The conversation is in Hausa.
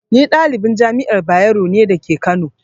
Ni ɗalibin Jami'ar Bayero ne dake kano